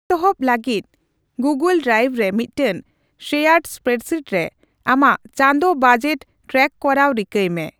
ᱮᱛᱚᱦᱚᱵ ᱞᱟᱹᱜᱤᱫ, Google drive ᱨᱮ ᱢᱤᱫᱴᱟᱝ ᱥᱮᱭᱟᱨᱰ ᱮᱥᱯᱮᱨᱮᱰᱥᱤᱴ ᱨᱮ ᱟᱢᱟᱜ ᱪᱟᱸᱫᱳ ᱵᱟᱡᱮᱴ ᱴᱮᱨᱟᱠ ᱠᱚᱨᱟᱣ ᱨᱤᱠᱟᱹᱭ ᱢᱮ ᱾